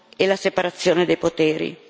e la separazione dei poteri.